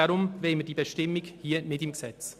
Deshalb wollen wir diese Bestimmung nicht im Gesetz.